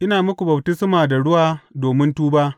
Ina muku baftisma da ruwa domin tuba.